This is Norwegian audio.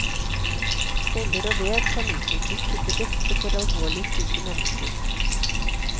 Celler og vev kan utnyttes til det beste for alvorlig syke mennesker.